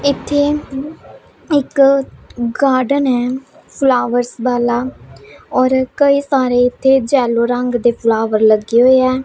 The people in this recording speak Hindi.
इथे एक गार्डन है फ्लावर्स वाला और कई सारे इथे जेलो रंग दे फ्लावर लगे हुएं हैं।